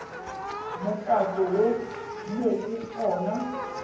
mokato wo mo go ona